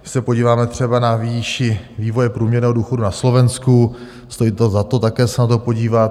Když se podíváme třeba na výši vývoje průměrného důchodu na Slovensku, stojí to za to také se na to podívat.